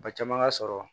Ba caman ka sɔrɔ